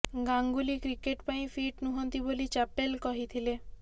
Ganguly cricket ପାଇଁ fit ନୁହଁନ୍ତି ବୋଲି ଚାପେଲ କହିଥିଲେ